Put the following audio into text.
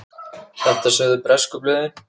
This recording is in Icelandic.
Þetta sögðu bresku blöðin.